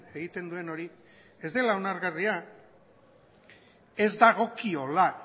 egiten duen hori ez dela onargarria ez dagokiola